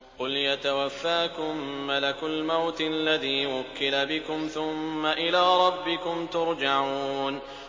۞ قُلْ يَتَوَفَّاكُم مَّلَكُ الْمَوْتِ الَّذِي وُكِّلَ بِكُمْ ثُمَّ إِلَىٰ رَبِّكُمْ تُرْجَعُونَ